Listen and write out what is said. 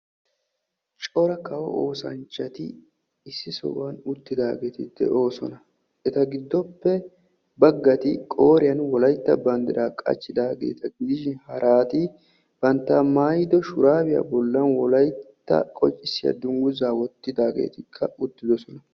coorra kaawo oosanchati issi sohuwaan uuttidaageti de'oosona. eetta giidope baaggati qooriyaan wolaytta bandiraa qaachidaageta giidishin haaratti baantta maayido shuraabiyaa boollan wolaytta qonccisiyaa dunguzzaa woottidaggetikka uttidosona.